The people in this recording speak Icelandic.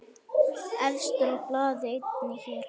Efstur á blaði einnig hér.